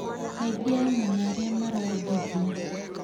Kaingĩ anyina arĩa marongithia